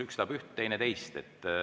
Üks tahab üht, teine teist.